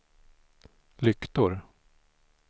lyktor